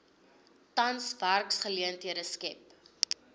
tans werksgeleenthede skep